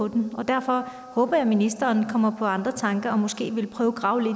den og derfor håber jeg at ministeren kommer på andre tanker og måske vil prøve at grave